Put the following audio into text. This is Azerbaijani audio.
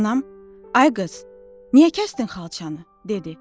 Anam, ay qız, niyə kəsdin xalçanı? dedi.